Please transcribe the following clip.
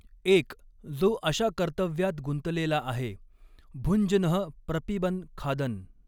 एक जो अशा कर्तव्यात गुंतलेला आहे भुञ्जनः प्रपिबन खादन्.